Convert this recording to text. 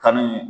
Kanni